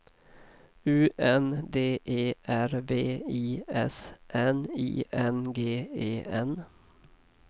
U N D E R V I S N I N G E N